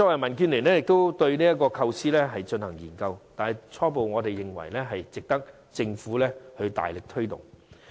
民建聯亦曾就這項措施進行研究，我們初步認為這值得政府大力推動。